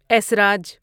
اسراج